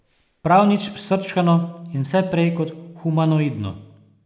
Prav nič srčkano in vse prej kot humanoidno.